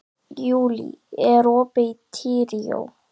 Júlí, er opið í Tríó?